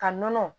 Ka nɔnɔ